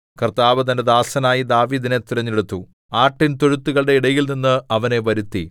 കർത്താവ് തന്റെ ദാസനായ ദാവീദിനെ തെരഞ്ഞെടുത്തു ആട്ടിൻതൊഴുത്തുകളുടെ ഇടയിൽനിന്ന് അവനെ വരുത്തി